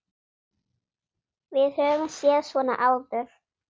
Við höfum séð svona áður.